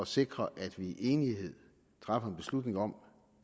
sikre at vi i enighed træffer en beslutning om